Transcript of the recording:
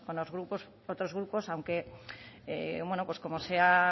otros grupos aunque como se